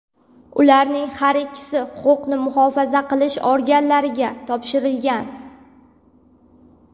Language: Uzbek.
Ularning har ikkisi huquqni muhofaza qilish organlariga topshirilgan.